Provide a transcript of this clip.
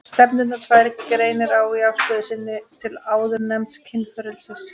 Stefnurnar tvær greinir á í afstöðu sinni til áðurnefnds kynfrelsis.